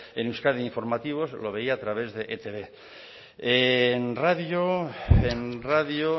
en euskadi de informativos lo veía a través de e i te be la radio